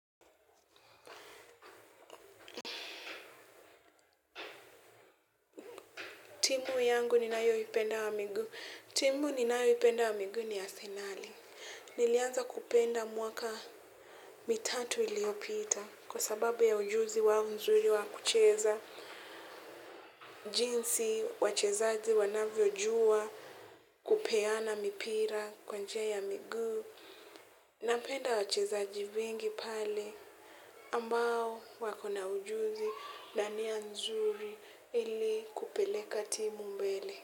Timu yangu ninayo ipenda wa miguu ni arsenali. Nilianza kupenda mwaka mitatu iliopita kwa sababu ya ujuzi wao nzuri wa kucheza jinsi wachezaji wanavyojua kupeana mipira kwa njia ya miguu. Napenda wachezaji wengi pale ambao wako na ujuzi na nia nzuri ili kupeleka timu mbele.